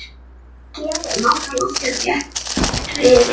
Skýin voru lágt á lofti og þéttriðin.